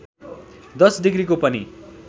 १० डिग्रीको पनि